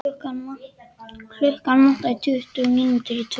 Klukkuna vantaði tuttugu mínútur í tvö.